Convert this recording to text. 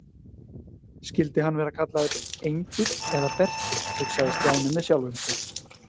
Skyldi hann vera kallaður Engill eða Berti hugsaði Stjáni með sjálfum sér.